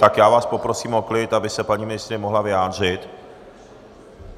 Tak já vás poprosím o klid, aby se paní ministryně mohla vyjádřit.